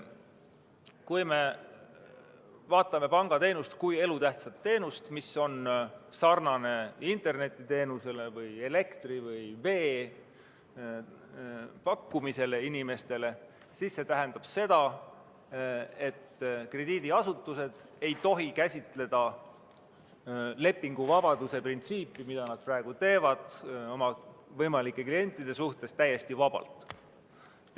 Kui me vaatame pangateenust elutähtsa teenusena – samamoodi nagu internetiteenuse või elektri ja vee pakkumine inimestele –, siis see tähendab seda, et krediidiasutused ei tohi käsitleda lepinguvabaduse printsiipi, mida nad praegu oma võimalike klientide suhtes kasutavad, täiesti vabalt.